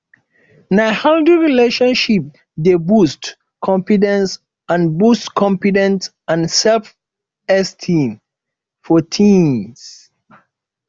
na healthy relationship dey boost confidence and boost confidence and selfesteem for teens